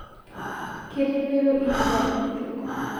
Ketepero lkitari kitok